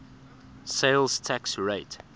sales tax rate